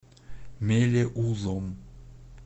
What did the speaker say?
мелеузом